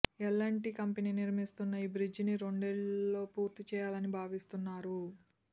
L and T company నిర్మిస్తున్న ఈ బ్రిడ్జిని రెండేళ్లలో పూర్తి చేయాలని భావిస్తున్నారు